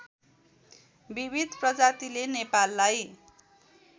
विविध प्रजातिले नेपाललाई